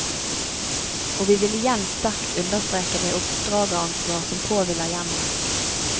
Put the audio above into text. Og vi vil igjen sterkt understreke det oppdrageransvar som påhviler hjemmene.